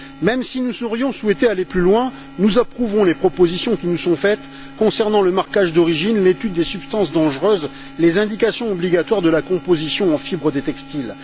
Même si nous aurions souhaité aller plus loin, nous approuvons les propositions qui nous sont faites concernant le marquage d'origine, l'étude des substances dangereuses, les indications obligatoires de la composition en fibres des textiles.